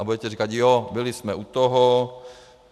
A budete říkat - ano, byli jsme u toho.